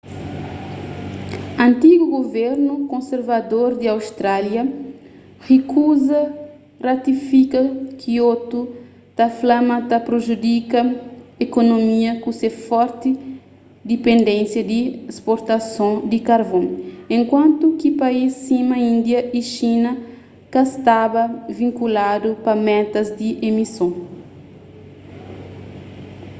antigu guvernu konservador di austrália rikuza ratifika kiotu ta fla ma ta prejudika ekonomia ku se forti dipendénisa di sportasons di karvon enkuantu ki país sima india y xina ka staba vinkuladu pa metas di emison